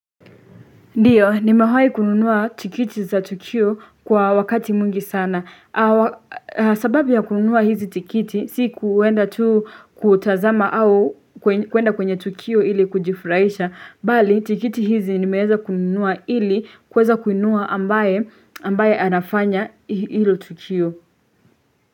Ndiyo, nimewahi kununua tikiti za tukio kwa wakati mwingi sana. Sababu ya kununua hizi tikiti, si kuenda tu kutazama au kuenda kwenye tukio ili kujifurahisha. Bali, tikiti hizi nimeweza kununua ili kuweza kuinua ambaye anafanya hilo tukio.